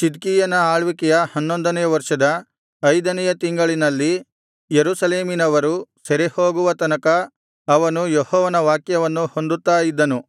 ಚಿದ್ಕೀಯನ ಆಳ್ವಿಕೆಯ ಹನ್ನೊಂದನೆಯ ವರ್ಷದ ಐದನೆಯ ತಿಂಗಳಿನಲ್ಲಿ ಯೆರೂಸಲೇಮಿನವರು ಸೆರೆಹೋಗುವ ತನಕ ಅವನು ಯೆಹೋವನ ವಾಕ್ಯವನ್ನು ಹೊಂದುತ್ತಾ ಇದ್ದನು